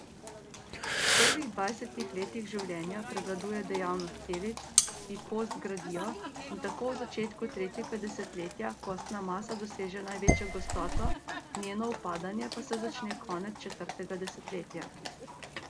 V prvih dvajsetih letih življenja prevladuje dejavnost celic, ki kost gradijo, in tako v začetku tretjega desetletja kostna masa doseže največjo gostoto, njeno upadanje pa se začne konec četrtega desetletja.